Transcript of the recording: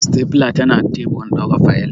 Stapler tanakan teburin dora fayil.